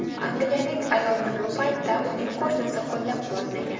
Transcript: Angliyalik ayolni bu paytda uning qo‘shnisi qo‘llab-quvvatlagan.